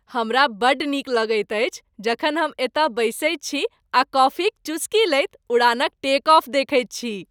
हमरा बड्ड नीक लगैत अछि जखन हम एतय बैसैत छी आ कॉफी क चुस्की लैत उड़ानक टेक ऑफ देखैत छी।